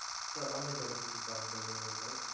sir અમે ઝડપથી કામ કરીયે છીએ sir